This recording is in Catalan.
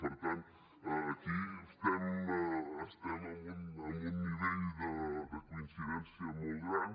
per tant aquí estem en un nivell de coincidència molt gran